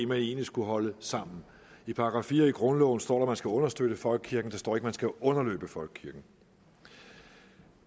man egentlig skulle holde sammen i § fire i grundloven står der skal understøtte folkekirken der står ikke at man skal underløbe folkekirken